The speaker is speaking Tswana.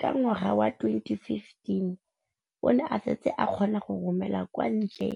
Ka ngwaga wa 2015, o ne a setse a kgona go romela kwa ntle